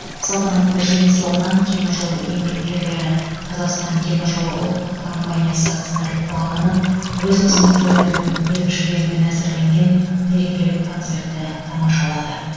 салтанатты жиын соңынан темір жол еңбеккерлері қазақстантеміржолы ұлттық компаниясы акционерлік қоғамының өз қызметкерлерінің ерік жігерімен әзірленген мерекелік концертті тамашалады